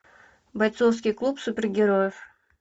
бойцовский клуб супергероев